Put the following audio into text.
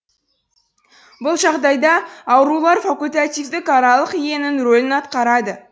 бұл жағдайда аурулар факультативтік аралық иенің рөлін атқарады